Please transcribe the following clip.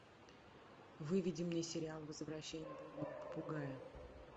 выведи мне сериал возвращение блудного попугая